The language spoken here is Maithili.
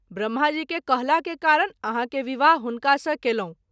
ब्रम्हा जी के कहला के कारण आहाँ के विवाह हुनका सँ केएलहुँ।